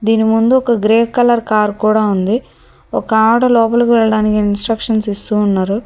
దీని ముందు ఒక గ్రే కలర్ కార్ కూడా ఉంది ఒక లోపలకి వెళ్లడానికి ఇన్స్ట్రక్షన్స్ ఇస్తూ ఉన్నారు.